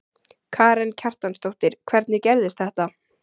Karen Kjartansdóttir: Hvernig gerðist þetta?